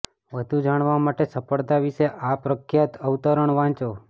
વધુ જાણવા માટે સફળતા વિશે આ પ્રખ્યાત અવતરણ વાંચો